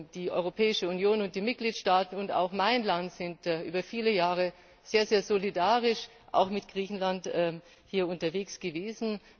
Die Europäische Union und die Mitgliedstaaten und auch mein Land sind über viele Jahre sehr solidarisch mit Griechenland hier unterwegs gewesen.